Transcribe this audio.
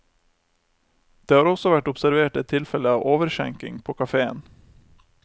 Det har også vært observert et tilfelle av overskjenking på kaféen.